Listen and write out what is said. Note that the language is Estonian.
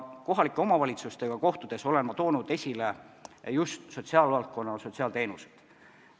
Kohalike omavalitsustega kohtudes olen ma esile toonud just sotsiaalvaldkonna ja sotsiaalteenused.